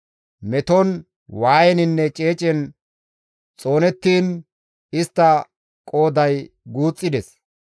Meton, waayeninne ceecen xoonettiin istta qooday guuxxides.